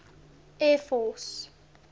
air force